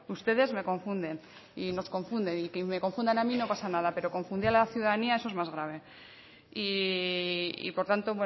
ustedes me confunden y nos confunden y que me confundan a mí no pasa nada pero confundir a la ciudadanía eso es más grave y por tanto